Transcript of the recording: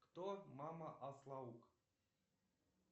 кто мама аслауг